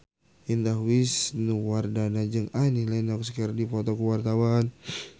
Indah Wisnuwardana jeung Annie Lenox keur dipoto ku wartawan